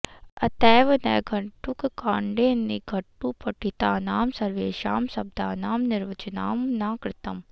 अतैव नैघण्टुककाण्डे निघण्टुपठितानां सर्वेषां शब्दानां निर्वचनं न कृतम्